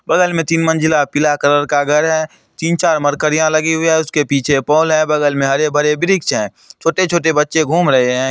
बगल में तीन मंजिला पीला कलर का घर है तीन चार मरकरी लगे हुए है उसका पीछे पोल है बगल में हरे भरे वृक्ष है छोटे छोटे बच्चे घूम रहे हैं।